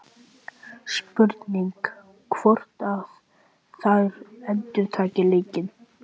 Spurning hvort að þær endurtaki leikinn?